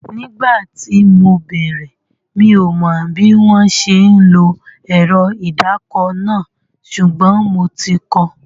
Nígbà tí mo bẹ̀rẹ̀, mi ò mọ bí wọ́n ṣe ń lo ẹ̀rọ ìdàkọ náà, ṣùgbọ́n mo ti kọ